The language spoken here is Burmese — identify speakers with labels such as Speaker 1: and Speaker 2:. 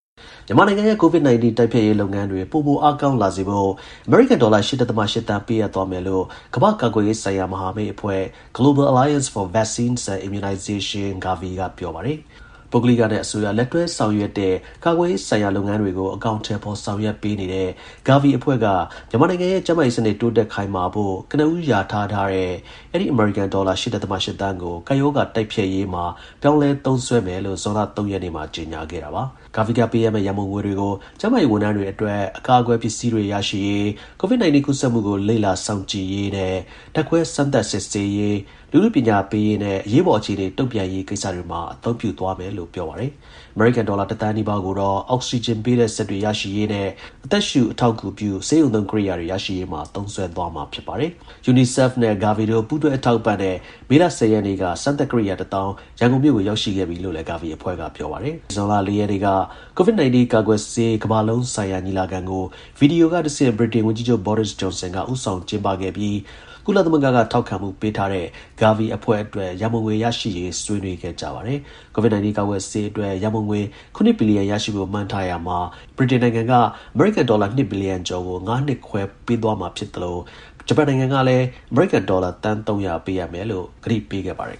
Speaker 1: မြန်မာနိုင်ငံရဲ့ COVID-19 တိုက်ဖျက်ရေးလုပ်ငန်းတွေ ပိုမိုအားကောင်းလာစေဖို့ အမေရိကန် ဒေါ်လာ ၈ ဒဿမ ၈ သန်း ပေးအပ်သွားမယ် လို့ ကမ္ဘာ့ ကာကွယ်ဆေးဆိုင်ရာ မဟာမိတ်အဖွဲ့ (Global Alliance for Vaccines and Immunisation - GAVI) က ပြောပါတယ်။ ပုဂ္ဂလိကနဲ့ အစိုးရ လက်တွဲဆောင်ရွက်တဲ့ ကာကွယ်ဆေးဆိုင်ရာ လုပ်ငန်းတွေကို အကောင်အထည်ဖော်ဆောင်ရွက် ပေးတဲ့ GAVI အဖွဲ့ က မြန်မာနိုင်ငံရဲ့ ကျန်းမာရေးစနစ် တိုးတက်ခိုင်မာဖို့ ကနဦး လျာထားတဲ့ အဲဒီ အမေရိကန် ဒေါ်လာ ၈ ဒဿမ ၈ သန်းကို ကပ်ရောဂါ တိုက်ဖျက်ရာမှာ ပြောင်းလဲ သုံးစွဲမယ်လို့ ဇွန်လ ၃ ရက်နေ့မှာ ကြေညာခဲ့တာပါ။ GAVI က ပေးအပ်မယ့် ရန်ပုံငွေတွေကို ကျန်းမာရေး ဝန်ထမ်းတွေအတွက် အကာအကွယ် ပစ္စည်းတွေ ရရှိရေး၊ COIVD 19 ကူးစက်မှုကို လေ့လာ စောင့်ကြည့်ရေးနဲ့ ဓါတ်ခွဲ စမ်းသပ်စစ်ဆေးရေး၊ လူထု ပညာပေးရေးနဲ့ အရေးပေါ် အခြေအနေ တုံ့ပြန်ရေးကိစ္စတွေမှာ အသုံးပြု သွားမယ်လို့ ပြောပါတယ်။ အမေရိကန် ဒေါ်လာ ၁ သန်းနီးပါးကိုတော့ အောက်ဆီဂျင်ပေးတဲ့စက်တွေ ရရှိရေးနဲ့ အသက်ရှူ အထောက် အကူပြု ဆေးရုံသုံး ကိရိယာတွေ ရရှိရေးမှာ သုံးစွဲသွားမှာ ဖြစ်ပါတယ်။ UNICEF နဲ့ GAVI တို့ ပူးတွဲ အထောက်အပံ့နဲ့ မေလ ၁၀ ရက်နေ့က စမ်းသပ် ကိရိယာ တစ်သောင်း ရန်ကုန်မြို့ကို ရောက်ရှိခဲ့ပြီလို့လည်း GAVIအဖွဲ့က ပြောပါတယ်။ မနေ့ ဇွန်လ ၄ ရက်နေ့က COVID-19 ကာကွယ်ဆေး ကမ္ဘာလုံး ဆိုင်ရာ ညီလာခံကို ဗီဒီယိုကတဆင့် ဗြိတိန် ဝန်ကြီးချုပ် Boris Johnson က ဦးဆောင်ကျင်းပခဲ့ပြီး ကုလသမဂ္ဂက ထောက်ခံမှုပေးထားတဲ့ GAVI အဖွဲ့အတွက် ရန်ပုံငွေ ရရှိရေး ဆွေးနွေးခဲ့ကြပါတယ်။ COVID-19 ကာကွယ်ဆေးအတွက် ရန်ပုံငွေ ၇ ဘီလီယံ ရရှိဖို့ မှန်းထားရာမှာ အဲဒီ ဆွေးနွေးပွဲမှာ GAVI အဖွဲ့အတွက် ဗြိတိန်နိုင်ငံက အမေရိကန် ဒေါ်လာ ၂ ဘီလီယံကျော်ကို ၅ နှစ်ခွဲပေးသွားမယ်လို့ ပြောသလို ဂျပန်နိုင်ငံကလည်း အမေရိကန် ဒေါ်လာ သန်း ၃၀၀ ပေးအပ်မယ် လို့ ကတိပေးခဲ့ပါတယ်